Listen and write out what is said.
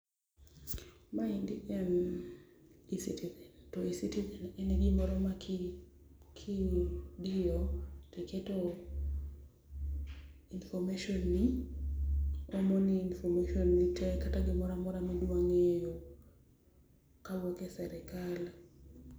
Maendi en E-Citizen, to E-Citizen en gimoro ma ki ki kidiyo to iketo information ni omoni information ni tee kata gimoro amora ma idwa ngeyo kawuok e sirkal